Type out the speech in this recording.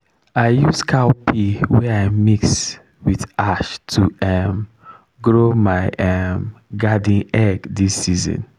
i use cow pee wey i mix with ash to um grow my um garden egg this season.